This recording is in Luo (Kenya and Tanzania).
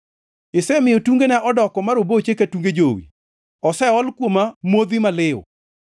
Isemiyo tungena odoko ma roboche ka tunge jowi; oseol kuoma modhi maliw.